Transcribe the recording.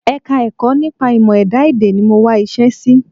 Ẹka-ẹ̀kọ́ nípa ìmọ̀-ẹ̀dá èdè ni mo máa wá iṣẹ́ sí